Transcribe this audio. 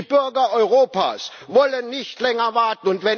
Die Bürger Europas wollen nicht länger warten!